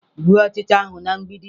Gbuo ọchịcha ahụ na mgbidi!